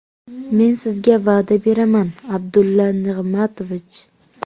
Men sizga va’da beraman, Abdulla Nig‘matovich.